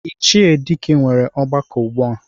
Ichie Dike nwere ọgbakọ ugbua.